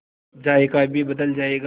जायका भी बदल जाएगा